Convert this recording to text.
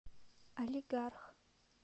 алигарх